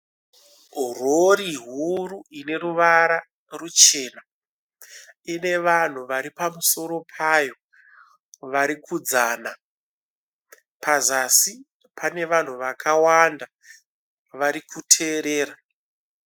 Rori huru ine ruvara ruchena ine vanhu vari pamusoro payo varikudzana pazasi pane vanhu vakawanda vari kuteerera.